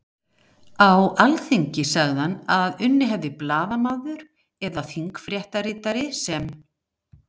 Á Alþingi sagði hann að unnið hefði blaðamaður eða þingfréttaritari sem